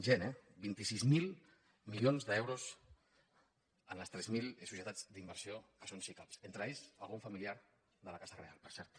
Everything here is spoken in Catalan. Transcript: gent eh vint sis mil milions d’euros en les tres mil societats d’inversió que són sicav entre aquests algun familiar de la casa reial per cert